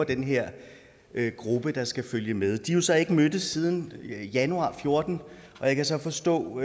den her gruppe der skal følge med de har så ikke mødtes siden januar fjorten og jeg kan så forstå